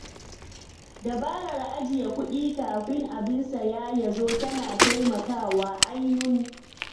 Dabarar ajiye kuɗin kafin abin saya ya zo tana taimakawa ainun.